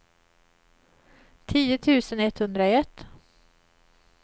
tio tusen etthundraett